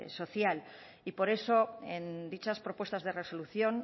social y por eso en dichas propuestas de resolución